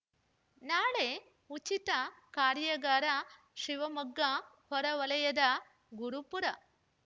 ನಾಳೆ ಉಚಿತ ಕಾರ್ಯಾಗಾರ ಶಿವಮೊಗ್ಗ ಹೊರಹೊಲಯದ ಗುರುಪುರ